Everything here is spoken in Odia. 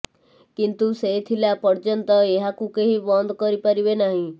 କିନ୍ତୁ େସ ଥିଲା ପର୍ଯ୍ୟନ୍ତ ଏହାକୁ କେହି ବନ୍ଦ କରି ପାରିବେ ନାହିଁ